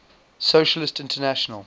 socialist international